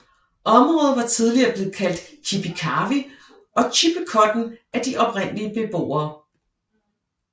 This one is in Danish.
Området var tidligere blevet kaldt Kipi Kawi og Chippecotton af de oprindelige beboere